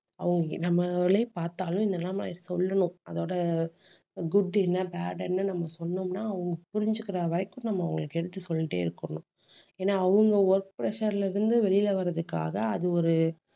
அவுங்~ நம்மளே பார்த்தாலும் நிலைமை சொல்லணும். அதோட good என்ன bad என்ன நம்ம சொன்னோம்ன்னா அவங்க புரிஞ்சுக்கிற வரைக்கும் நம்ம அவங்களுக்கு எடுத்து சொல்லிட்டே இருக்கணும். ஏன்னா அவங்க work pressure ல இருந்து வெளியிலே வர்றதுக்காக அது ஒரு